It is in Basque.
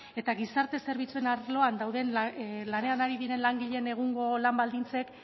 eta gizarte zerbitzuen arloan lanean ari diren langileen egungo lan baldintzek